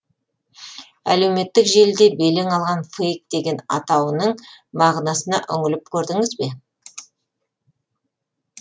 әлеуметтік желіде белең алған фейк деген атауының мағынасына үңіліп көрдіңіз бе